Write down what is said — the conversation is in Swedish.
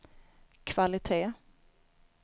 kvalitet